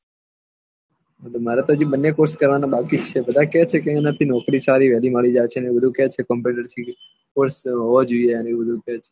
મારે તો હજી બન્ને કોર્ષ કરવાના બાકી છે બદ્ધ કેહ છે એના થી નોકરી સારી વહેલી મળી જાય છે અને વધુ કેહ છે કમ્પ્યુટર કોર્ષ હોવા જોયીયે